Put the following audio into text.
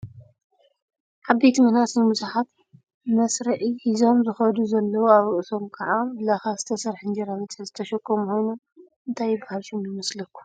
ዓበይቲን መናእሰይን ብዙሓት መኘስርዒ ሒዞም ዝከዱ ዘለው ኣብ ርእሶም ካብ ላካ ዝተሰረሐ እንጀራ መትሐዚ ዝተሸከሙ ኮይኖም እንታይ ይብሃል ሽሙ ይመስለኩም?